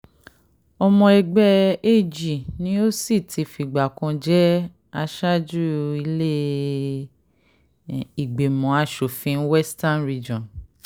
ọmọ ẹgbẹ́ ag ni ó sì ti fìgbà kan jẹ́ aṣáájú ilé-ìgbìmọ̀ asòfin western region